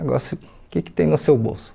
Agora, se o que que tem no seu bolso?